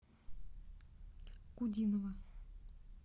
кудинова